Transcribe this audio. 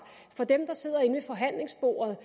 for dem der sidder inde ved forhandlingsbordet